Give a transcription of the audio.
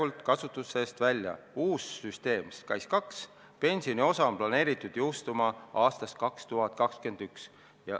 Uus süsteem SKAIS2 pensioni osa on planeeritud jõustuma aastast 2021.